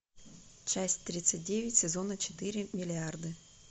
часть тридцать девять сезона четыре миллиарды